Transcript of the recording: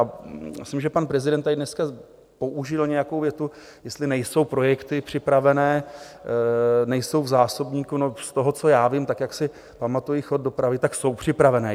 A myslím, že pan prezident tady dneska použil nějakou větu, jestli nejsou projekty připravené, nejsou v zásobníku, no z toho, co já vím, tak jak si pamatuji chod dopravy, tak jsou připravené.